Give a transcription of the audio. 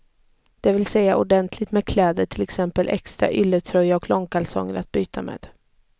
Det vill säga ordentligt med kläder, till exempel extra ylletröja och långkalsonger att byta med.